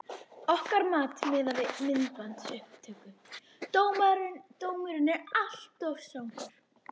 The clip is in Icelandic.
Okkar mat miðað við myndbandsupptöku: Dómurinn alltof strangur.